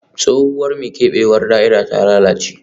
Tsohuwar mai keɓewar da'ira ta lalace